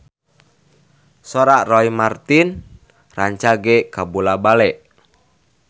Sora Roy Marten rancage kabula-bale